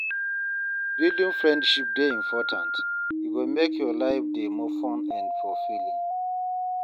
Building friendships dey important; e go make your life dey more fun and fulfilling.